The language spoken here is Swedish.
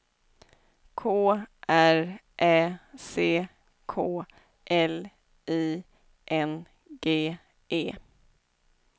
K R Ä C K L I N G E